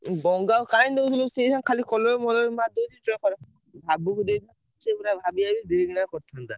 ଉଁ ଗଙ୍ଗାକୁ କାଇଁ ଦଉଥିଲୁ ସେ ଅଇଖା ଖାଲି colour ଫଲର ମାରିଦଉଛି ଜହର ଭାବକୁ ଦେଇ ସେ ପୁରା ଭାବି ଭାବି ଧିରେ କିନା କରିଥାନ୍ତା।